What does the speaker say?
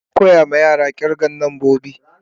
Ana koya ma yara kirgan nambobi.